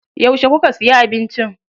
Yauce kuka siya abinci?